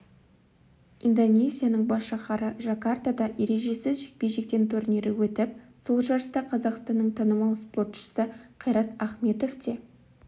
индонезияның бас шаһары жакартада ережесіз жекпе-жектен турнирі өтіп сол жарыста қазақстанның танымал спортшысы қайрат ахметов те